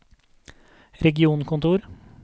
regionkontor